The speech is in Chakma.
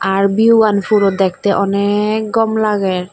ar viewgan puro dekte anek gom lager.